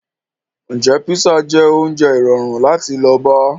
Ǹjẹ́ písà jẹ́ oúnjẹ irọrun láti lọ bá